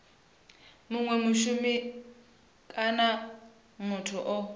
munwe mushumi kana muthu o